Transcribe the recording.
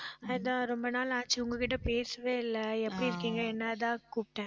அதான், ரொம்ப நாளாச்சு உங்க கிட்ட பேசவே இல்லை. எப்படி இருக்கீங்க என்ன அதான் கூப்பிட்டேன்